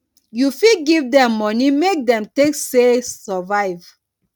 you fit give dem money make dem take sey survive